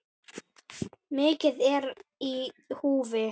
Mikið er í húfi.